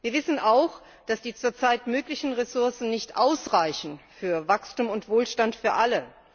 Wir wissen auch, dass die zurzeit möglichen Ressourcen nicht ausreichen für Wachstum und Wohlstand für alle.